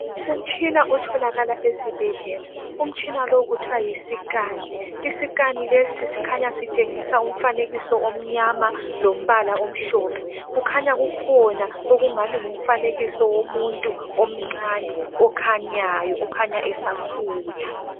Umtshina otholakala esibhedlela , umtshina lo kuthiwa yiscan , I scan lesi sikhanya sitshengisa umfanekiso omnyama lombala omhlophe , kukhanya kukhona okungani ngumfanekiso womuntu omncane okhanyayo okhanya esakhula